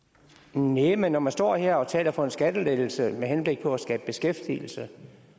næh men når man står her og taler for en skattelettelse med henblik på at skabe beskæftigelse